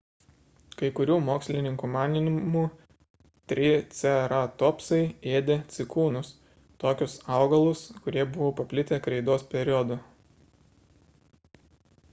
kai kurių mokslininkų manymu triceratopsai ėdė cikūnus – tokius augalus kurie buvo paplitę kreidos periodu